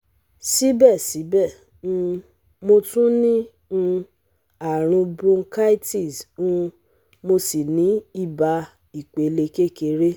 Síbẹ̀síbẹ̀, um mo tún ní um àrùn bronchitis um mo sì ní ibà ìpele kékeré